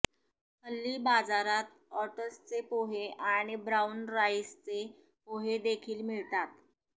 हल्ली बाजारात ओट्सचे पोहे आणि ब्राऊन राइसचे पोहेदेखील मिळतात